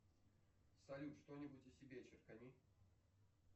салют что нибудь о себе черкани